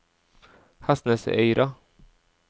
Hestnesøyra